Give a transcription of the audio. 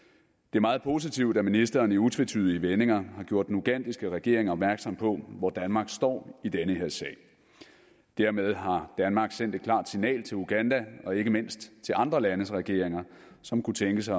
er meget positivt at ministeren i utvetydige vendinger har gjort den ugandiske regering opmærksom på hvor danmark står i den her sag dermed har danmark sendt et klart signal til uganda og ikke mindst til andre landes regeringer som kunne tænke sig